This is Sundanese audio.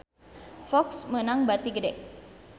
Fox meunang bati gede